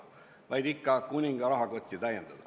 Eesmärk oli ikka vaid kuninga rahakotti täita.